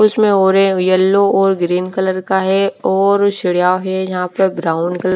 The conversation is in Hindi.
कुछ में ऑरे येलो ओर ग्रीन कलर का है और है जहाँ पर ब्राउन क्ल--